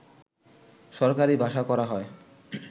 সরকারী ভাষা করা হয়